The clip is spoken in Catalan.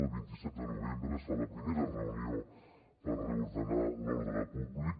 el vint set de novembre es fa la primera reunió per reordenar l’ordre públic